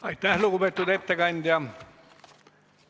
Aitäh, lugupeetud ettekandja!